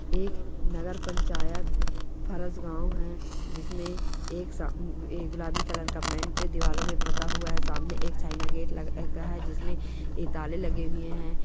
एक नगर पंचायत फरस गाँव है जिसमे एक सा--अ--अ-- गुलाबी कलर का पेंट दिवालों पे पूता हुआ है सामने एक चयना लगा है जिसमे ये ताले लगे हुए है।